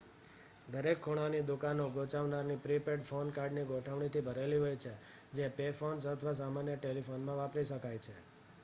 દરેક ખૂણાની દુકાનો ગૂંચવનારા પ્રી-પેડ ફોન કાર્ડની ગોઠવણીથી ભરેલી હોય છે જે પે ફોન્સ અથવા સામાન્ય ટેલિફોનમાં વાપરી શકાય છે